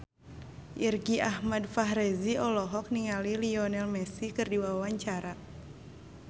Irgi Ahmad Fahrezi olohok ningali Lionel Messi keur diwawancara